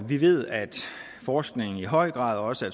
vi ved at forskning i høj grad også